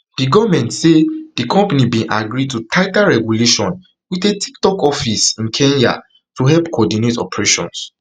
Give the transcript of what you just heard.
di goment say di company bin agree to tighter regulation wit a tiktok office in kenya to help coordinate operations